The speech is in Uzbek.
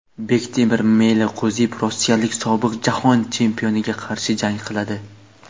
Bektemir Meliqo‘ziyev rossiyalik sobiq jahon chempioniga qarshi jang qiladi.